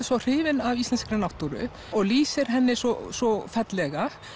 svo hrifinn af íslenskri náttúru og lýsir henni svo svo fallega